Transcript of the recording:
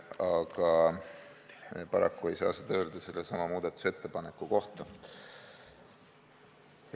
Aga paraku ei saa seda öelda sellesama muudatusettepaneku kohta.